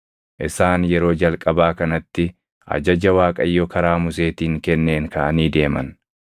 Isaan yeroo jalqabaa kanatti ajaja Waaqayyo karaa Museetiin kenneen kaʼanii deeman.